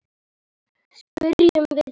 Spyrjum við okkur.